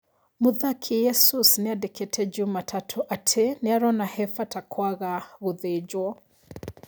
Mũthaki Jesus nĩandĩkĩte juma tatũ atĩ nĩarona hebata kwaga gũthĩnjwo.